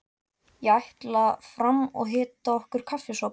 Ég ætla fram og hita okkur kaffisopa.